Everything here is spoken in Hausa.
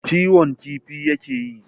kiwon kifi ya ke yi.